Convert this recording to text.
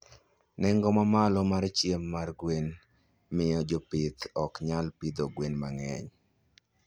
Nengo mamalo mar chiemo mar gwen miyo jopith ok nyal pidho gwen mang'eny.